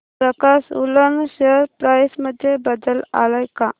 प्रकाश woollen share price मध्ये बदल आलाय का